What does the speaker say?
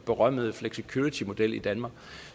berømmede flexicuritymodel i danmark